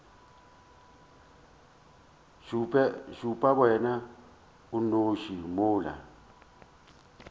šupe wena o nnoši mola